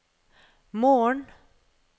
morgen